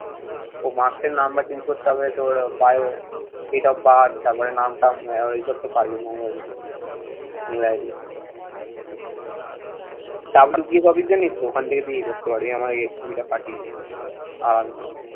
তো marks র number change করতে হবে। তোর biodata, date of birth তারপরে নামটাম এরপরে এসব তো পারবি normal জিনিস। mail ID WPS office জানিস তো। ওখান থেকে তুই ইয়ে করতে পারবি। আমাকে CV টা পাঠিয়ে দিবি। আরাম কর।